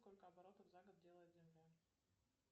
сколько оборотов за год делает земля